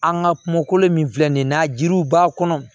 An ka kumakolo min filɛ nin ye n'a jiriw b'a kɔnɔ